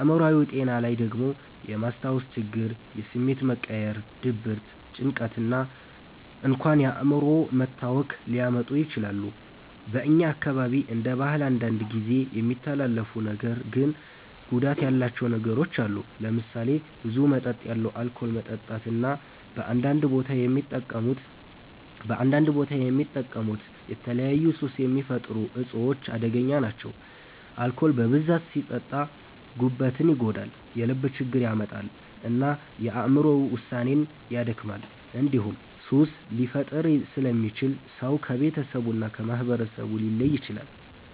አእምሮአዊ ጤና ላይ ደግሞ የማስታወስ ችግር፣ የስሜት መቀያየር፣ ድብርት፣ ጭንቀት እና እንኳን የአእምሮ መታወክ ሊያመጡ ይችላሉ። በእኛ አካባቢ እንደ ባህል አንዳንድ ጊዜ የሚተላለፉ ነገር ግን ጉዳት ያላቸው ነገሮች አሉ። ለምሳሌ ብዙ መጠን ያለው አልኮል መጠጣት እና በአንዳንድ ቦታ የሚጠቀሙት የተለያዩ ሱስ የሚፈጥሩ እፆች አደገኛ ናቸው። አልኮል በብዛት ሲጠጣ ጉበትን ይጎዳል፣ የልብ ችግር ያመጣል እና የአእምሮ ውሳኔን ያደክማል። እንዲሁም ሱስ ሊፈጥር ስለሚችል ሰው ከቤተሰቡ እና ከማህበረሰቡ ሊለይ ይችላል።